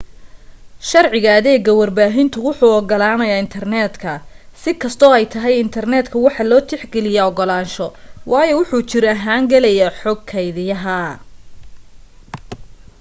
sharciga adeega warbahinta wuxuu ogolanayaa intarneetka si kasto ay tahay intarneetka waxaa loo tix geliya ogolaansho waayo wuxuu jir ahaan galayaa xog keediyaha